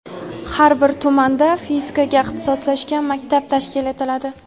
Har bir tumanda fizikaga ixtisoslashgan maktab tashkil etiladi.